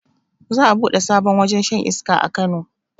Za a buɗe sabon wajen shan iska a kano